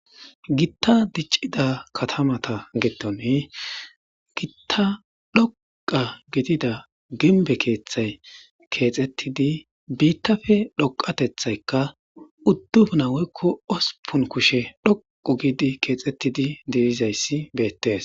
gitta diccida katamata getone gitta dhoqa gidida gimbe keeththay keexettidi biittafe dhoqatethaykka udduf naweykko osupun kushe dhoqu giidi keexettidi delizayssi beettes